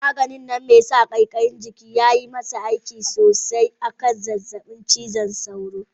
Magani mai sa kaikayin jikin nan yayi masa aiki sosai a kan zazzabin cizon sauro.